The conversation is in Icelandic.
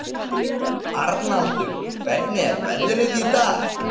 Arnaldur, hvernig er veðrið í dag?